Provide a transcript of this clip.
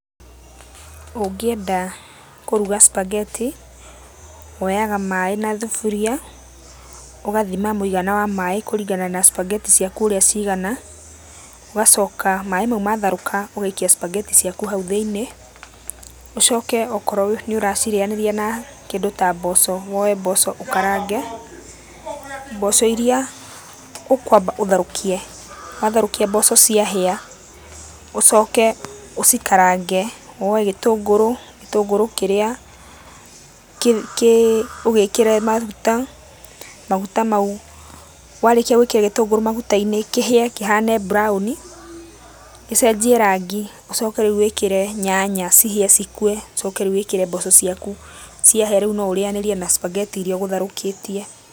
Ũngĩenda kũruga spagetti, woyaga maaĩ na thuburia, ũgathima mũigana wa maaĩ kũringana na spagetti ciaku ũrĩa cigana, ũgacoka maaĩ macio matharũka, ũgaikia spagetti ciaku haũ thĩiniĩ, ũcoke okorwo nĩũracirĩyanĩrĩa na kĩndũ ta mboco, woye mboco ũkarange, mboco irĩa ũkwamba ũtherũkie, watherũkia mboco ciahĩa, ũcoke ũcikarange, woye gĩtũngũrũ, gĩtũngũrũ kĩrĩa ũgĩkĩre maguta, maguta mau, warĩkia gwĩkĩra gĩtũngũrũ maguta-inĩ, kĩhĩe kĩhane brown, gĩcenjie rangi ũcoke rĩu wĩkĩre nyanya cihĩe cikue, ũcoke rĩu wĩkĩre mboco ciaku, ciahĩa rĩu no ũrĩanĩrie na spagetti irĩa ũgũtherũkĩtie.